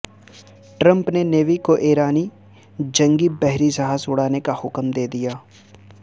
Trump نے navy کو ایرانی جنگی بحری جہاز اڑانے کا حکم دے دیا